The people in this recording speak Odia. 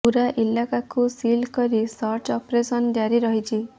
ପୂରା ଇଲାକାକୁ ସିଲ୍ କରି ସର୍ଚ୍ଚ ଅପରେସନ ଜାରି ରହିଛି